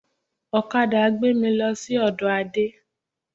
Ọ̀kadà gbé mì lọ sí ọdọ Ade